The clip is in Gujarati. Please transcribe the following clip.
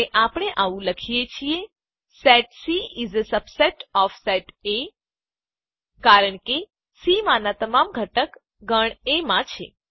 અને આપણે આવું પણ લખી શકીએ છીએ set C is a subset of set A ગણ સી એ ગણ એ નો એક પેટાગણ છે કારણ કે સી માનાં તમામ ઘટક ગણ એ માં છે